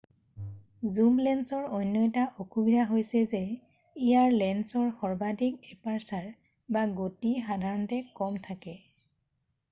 জুম লেন্সৰ অন্য এটা অসুবিধা হৈছে যে ইয়াৰ লেন্সৰ সৰ্বাধিক এপাৰ্চাৰ গতি সাধাৰণতে কম থাকে।